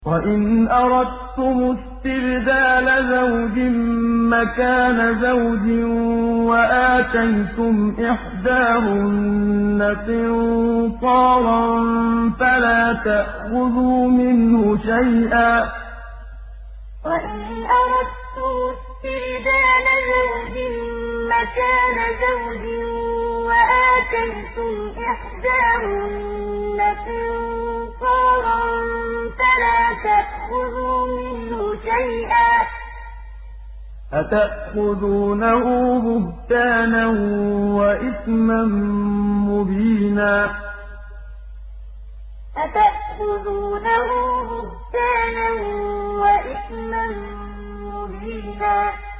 وَإِنْ أَرَدتُّمُ اسْتِبْدَالَ زَوْجٍ مَّكَانَ زَوْجٍ وَآتَيْتُمْ إِحْدَاهُنَّ قِنطَارًا فَلَا تَأْخُذُوا مِنْهُ شَيْئًا ۚ أَتَأْخُذُونَهُ بُهْتَانًا وَإِثْمًا مُّبِينًا وَإِنْ أَرَدتُّمُ اسْتِبْدَالَ زَوْجٍ مَّكَانَ زَوْجٍ وَآتَيْتُمْ إِحْدَاهُنَّ قِنطَارًا فَلَا تَأْخُذُوا مِنْهُ شَيْئًا ۚ أَتَأْخُذُونَهُ بُهْتَانًا وَإِثْمًا مُّبِينًا